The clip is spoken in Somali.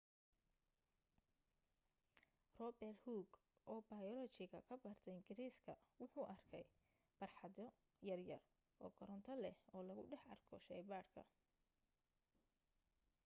robert hooke oo bayolojiga ka barta ingiriiska wuxuu arkay barxadyo yar-yar oo koronto leh oo lagu dhex arko sheeeybaarka